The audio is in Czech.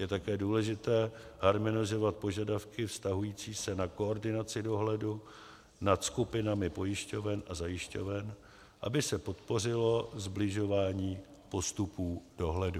Je také důležité harmonizovat požadavky vztahující se na koordinaci dohledu nad skupinami pojišťoven a zajišťoven, aby se podpořilo sbližování postupů dohledu.